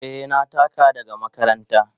Eh, na taka daga makaranta.